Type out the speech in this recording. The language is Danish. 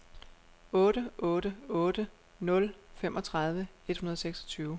otte otte otte nul femogtredive et hundrede og seksogtyve